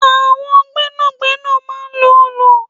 Àwọn gbẹ́nàgbẹ́nà máa ń lò òòlù